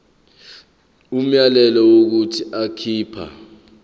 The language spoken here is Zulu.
umyalelo wokuthi akhipha